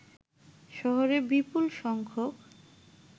শহরে বিপুলসংখ্যক